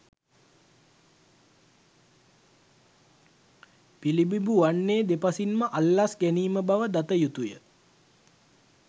පිළිඹිබු වන්නේ දෙපසින්ම අල්ලස් ගැනීම බව දතයුතුය.